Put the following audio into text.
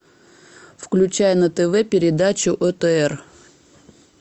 включай на тв передачу отр